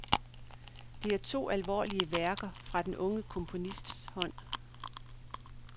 Det er to alvorlige værker fra den unge komponists hånd.